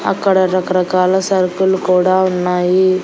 అక్కడ రకరకాల సరుకులు కూడా ఉన్నాయి.